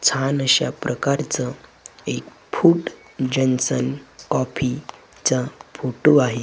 छान अशा प्रकारचं एक फूड जंक्शन कॉफीचं फोटो आहे.